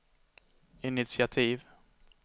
initiativ